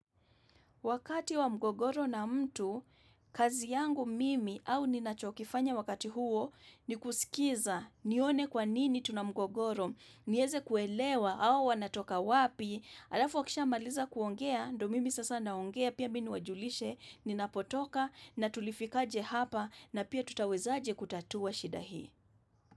Wakati wa mgogoro na mtu, kazi yangu mimi au ninachokifanya wakati huo ni kusikiza nione kwa nini tuna mgogoro, nieze kuelewa au wanatoka wapi, alafu akisha maliza kuongea, ndo mimi sasa naongea, pia mi niwajulishe, ninapotoka, natulifikaje hapa, na pia tutaweza aje kutatua shida hii.